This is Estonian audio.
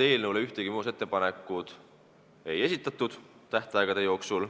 Eelnõu kohta ühtegi muudatusettepanekut tähtajaks ei esitatud